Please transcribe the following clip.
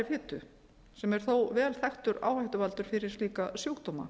fitu sem er þó vel þekktur áhættuvaldur fyrir slíka sjúkdóma